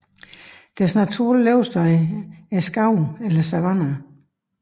Deres naturlige levested er skove eller savanner